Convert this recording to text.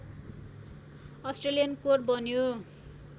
Australian कोर बन्यो